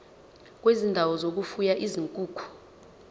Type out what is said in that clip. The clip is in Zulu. kwezindawo zokufuya izinkukhu